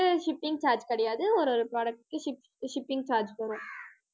shipping charge கிடையாது. ஒரு, ஒரு product க்கு ship~ shipping charge வரும்